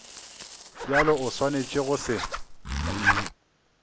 bjalo o swanetše go se